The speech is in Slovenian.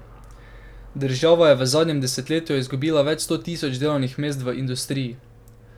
Država je v zadnjem desetletju izgubila več sto tisoč delovnih mest v industriji.